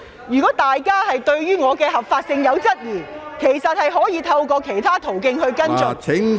如果大家對於我當選的合法性存疑，可透過其他途徑跟進。